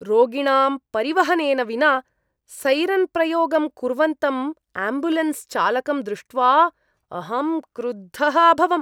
रोगिणां परिवहनेन विना सैरन्प्रयोगं कुर्वन्तं आम्ब्युलेन्स् चालकं दृष्ट्वा अहं क्रुद्धः अभवम्।